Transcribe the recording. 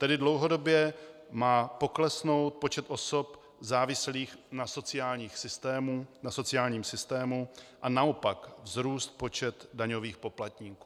Tedy dlouhodobě má poklesnout počet osob závislých na sociálním systému a naopak vzrůst počet daňových poplatníků.